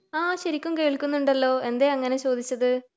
ആഹ് ശെരിക്കും കേൾക്കുന്നുണ്ടല്ലോ എന്തെ അങ്ങിനെ ചോദിച്ചത്